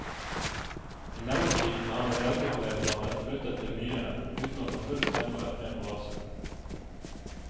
I mellomtiden hadde velgerflertallet flyttet til byene, uten å få full stemmerett med på lasset.